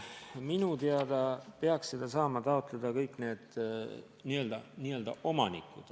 Minu teada peaks saama seda toetust taotleda kõik need omanikud.